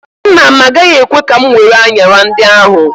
Nna m agaghị ekwe ka m were anyara ndị ahụ.